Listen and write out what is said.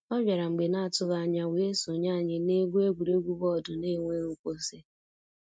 ọ bịara mgbe n'atụghị anya wee sonye anyị na-egwu egwuregwu bọọdụ n'enweghị nkwụsị.